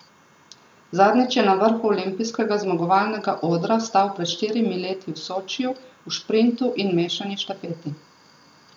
Zadnjič je na vrhu olimpijskega zmagovalnega odra stal pred štirimi leti v Sočiju v šprintu in mešani štafeti.